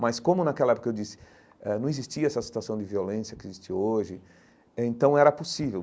Mas como naquela época eu disse, eh não existia essa situação de violência que existe hoje eh, então era possível.